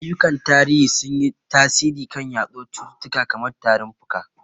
Ayyukan tarihi sun yi tasiri kan yaduwar cututtuka kamar tarin fuka.